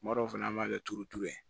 Kuma dɔw fana an b'a kɛ turuturu ye